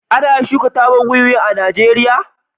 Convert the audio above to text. ana shuka tabar wiwi Najeriya